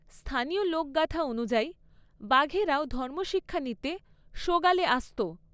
স্থানীয় লোকগাথা অনুযায়ী, বাঘেরাও ধর্মশিক্ষা নিতে সোগালে আসত।